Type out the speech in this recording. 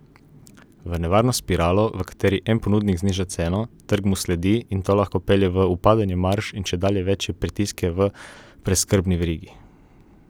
V nevarno spiralo, v kateri en ponudnik zniža ceno, trg mu sledi in to lahko pelje v upadanje marž in čedalje večje pritiske v preskrbni verigi.